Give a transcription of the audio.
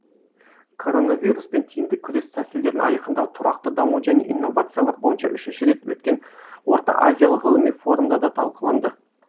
коронавируспен тиімді күрес тәсілдерін айқындау тұрақты даму және инновациялар бойынша үшінші рет өткен орта азиялық ғылыми форумда да талқыланды